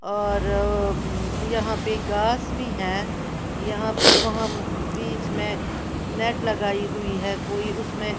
और हम्म यहां पे घास भी है यहाँ पे वहां बीच में नेट लगाई हुई है बीच में--